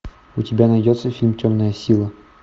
у тебя найдется фильм темная сила